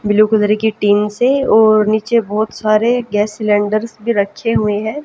Blue colour की team से और नीचे बहुत सारे गैस सिलेंडर्स भी रखे हुए हैं।